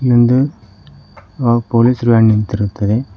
ಹಿಂದು ಅ police van ನಿಂತಿರುತ್ತದೆ.